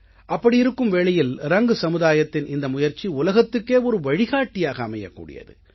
அப்படி இருக்கும் வேளையில் ரங் சமுதாயத்தின் இந்த முயற்சி உலகத்துக்கே ஒரு வழிகாட்டியாக அமையக்கூடியது